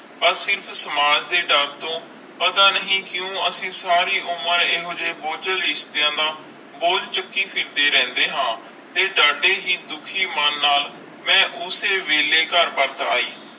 ਆਹ ਸਿਰਫ ਸਮਾਜ ਤੇ ਡਰ ਤੋਂ ਪਤਾ ਨਹੀਂ ਕਿਊ ਅਸੀਂ ਸਾਰੀ ਉਮਰ ਇਹੋ ਜੇ ਬੋਜਲ ਰਿਸ਼ਤਿਆਂ ਦਾ ਬੋਝ ਚੁਕੀ ਫਿਰਦੇ ਰਹਿੰਦੇ ਆ ਤੇ ਡਾਢੇ ਹੀ ਦੁਖੀ ਮਨ ਨਾਲ ਮੈਂ ਓਸੇ ਵੇਲੇ ਕਰ ਪਰਤ ਆਈ।